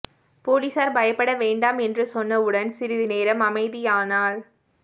பொலிஸார் பயப்பட வேண்டாம் என்று சொன்னவுடன் சிறிது நேரம் அமைதியானாள்